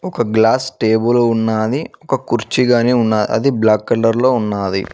ఒక glass table ఉన్నాది ఒక కుర్చిగానీ ఉన్న అది బ్లాక్ కలర్ లో ఉన్నాది.